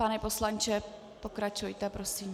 Pane poslanče, pokračujte prosím.